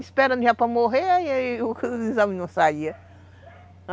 Esperando já para morrer, aí os exames não saíam.